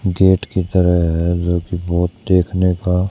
gate कि तरह है जोकि बहोत देखने का--